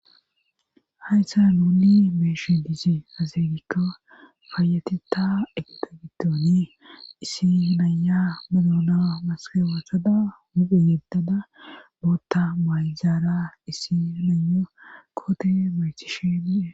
haysan nunni betishe dizerikka faayateta egta giddoone isi naya madona maskawasada muphe yeettada bootta mayjaara issi nunyo koote baytishe die